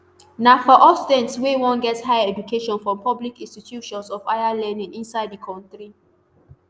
na for all students wey wan get higher education from public institutions of higher learning inside di kontri